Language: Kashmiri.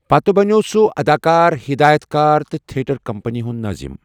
پتہٕ بنٛٮ۪وٚو سُہ اداکار، ہدایتكار تہٕ تھیٹر کمپنی ہُنٛد نٲظَم ۔